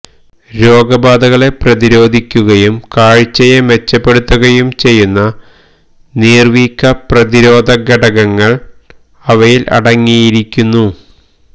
രോഗബാധകളെ പ്രതിരോധിക്കുകയും കാഴ്ചയെ മെച്ചപ്പെടുത്തുകയും ചെയ്യുന്ന നീർവീക്കപ്രതിരോധ ഘടകങ്ങൾ അവയിൽ അടങ്ങിയിരിക്കുന്നു